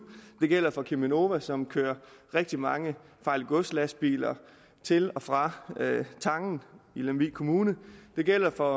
det gælder for cheminova som kører rigtig mange farligt gods lastbiler til og fra tangen i lemvig kommune det gælder for